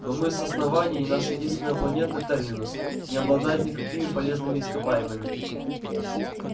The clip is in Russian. но мы с основании и наша единственная планета терминус не обладает никакими полезными ископаемыми